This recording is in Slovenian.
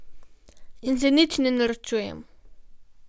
In se nič ne norčujem.